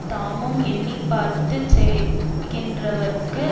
தாமும் எண்ணி பார்த்து செய்கின்றவர்க்கு